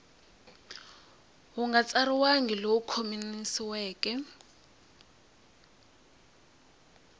wu nga tsariwangi lowu khomanisiweke